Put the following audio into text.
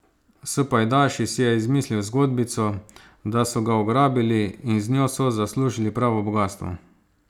S pajdaši si je izmislil zgodbico, da so ga ugrabili, in z njo so zaslužili pravo bogastvo.